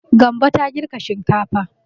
Gambo ta girka shinkafa.